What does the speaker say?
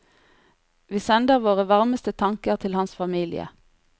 Vi sender våre varmeste tanker til hans familie.